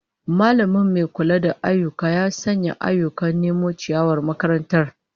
Mallamin mai kula da ayyuka ya sanya ayyukan nome ciyawar makarantar